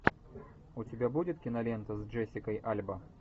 у тебя будет кинолента с джессикой альба